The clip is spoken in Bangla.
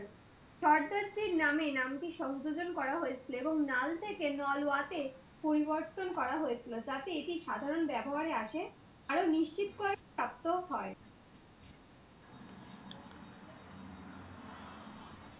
সর্দার সিং নামে এই নামটি সংযোজন করা হয়েছিল। এবং নাল থেকে নালোয়া তে পরিবর্তন করা হয়েছিল। যাতে এটি সাধারণ ব্যবহারে আসে। আরও নিশ্চিত করার সার্থক আসে।